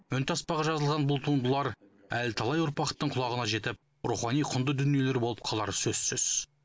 үнтаспаға жазылған бұл туындылар әлі талай ұрпақтың құлағына жетіп рухани құнды дүниелер болып қалары сөзсіз